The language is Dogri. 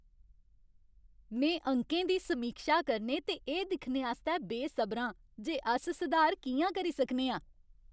में अंकें दी समीक्षा करने ते एह् दिक्खने आस्तै बेसबरा आं जे अस सुधार कि'यां करी सकने आं।